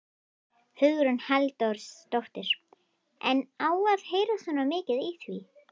Hugrún Halldórsdóttir: En á að heyrast svona mikið í því?